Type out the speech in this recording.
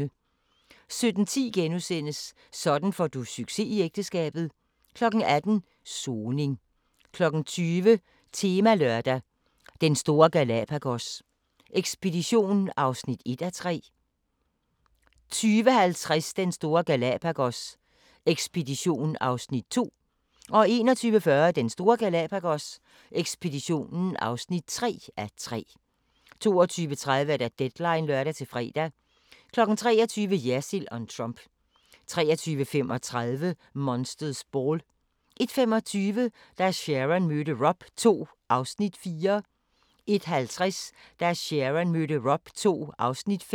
17:10: Sådan får du succes i ægteskabet * 18:00: Soning 20:00: Temalørdag: Den store Galapagos ekspedition (1:3) 20:50: Den store Galapagos ekspedition (2:3) 21:40: Den store Galapagos ekspedition (3:3) 22:30: Deadline (lør-fre) 23:00: Jersild om Trump 23:35: Monster's Ball 01:25: Da Sharon mødte Rob II (4:6) 01:50: Da Sharon mødte Rob II (5:6)